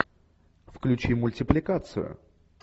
включи мультипликацию